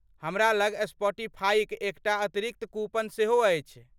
हमरा लग सपॉटिफाईक एकटा अतिरिक्त कूपन सेहो अछि।